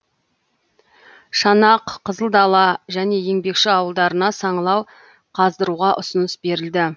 шанақ қызылдала және еңбекші ауылдарына саңылау қаздыруға ұсыныс берілді